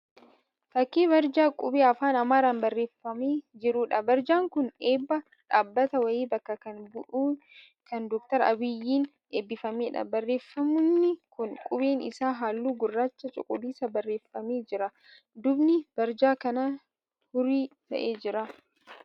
Fakkii barjaa qubee afaan Amaaraan barreeffamee jiruudha. Barjaan kun eebba dhaabbata wayii bakka kan bu'e kan Dr. Abiyyiin eebbifameedha. Barreeffamni kun qubeen isaa halluu gurraacha cuquliisaan barreeffamee jira. Duubni barjaa kanaa hurrii ta'ee jira.